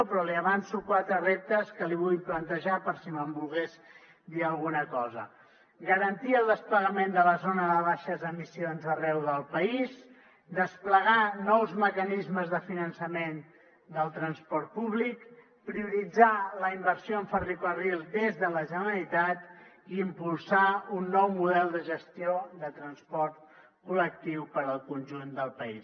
però li avanço quatre reptes que li vull plantejar per si me’n volgués dir alguna cosa garantir el desplegament de la zona de baixes emissions arreu del país desplegar nous mecanismes de finançament del transport públic prioritzar la inversió en ferrocarril des de la generalitat i impulsar un nou model de gestió de transport col·lectiu per al conjunt del país